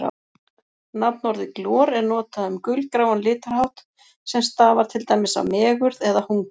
Nafnorðið glor er notað um gulgráan litarhátt sem stafar til dæmis af megurð eða hungri.